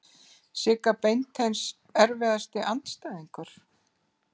Sigga Beinteins Erfiðasti andstæðingur?